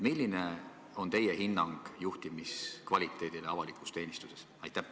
Milline on teie hinnang juhtimiskvaliteedile avalikus teenistuses?